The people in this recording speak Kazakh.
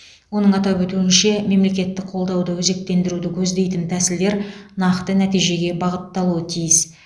оның атап өтуінше мемлекеттік қолдауды өзектендіруді көздейтін тәсілдер нақты нәтижеге бағытталуы тиіс